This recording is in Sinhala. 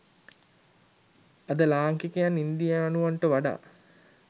අද ලාංකිකයන් ඉන්දියානුවන්ට වඩා